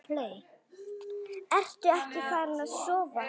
Ertu ekkert farin að sofa!